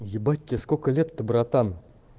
ебать тебе сколько лет-то братан